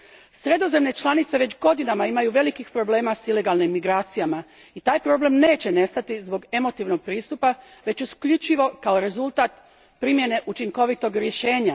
Sredozemne članice već godinama imaju velikih problema s ilegalnim imigracijama i taj problem neće nestati zbog emotivnog pristupa već isključivo kao rezultat primjene učinkovitog rješenja.